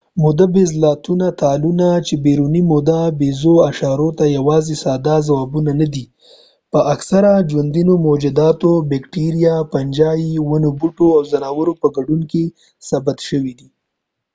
موده ییز تالونه چې بیروني موده ییزو اشارو ته یواځې ساده ځوابونه نه دي په اکثره ژوندیو موجوداتو د بېکټیریا فنجي ونو بوټو او ځناورو په ګډون کې ثبت شوي دي